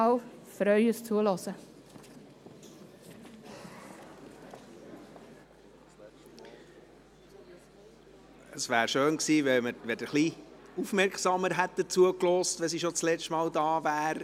Es wäre schön gewesen, wenn Sie Grossrätin Gygax etwas aufmerksamer zugehört hätten, schliesslich ist sie das letzte Mal hier.